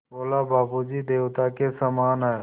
बोला बाबू जी देवता के समान हैं